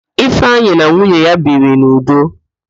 Ifeanyi na nwunye ya biri n'udo.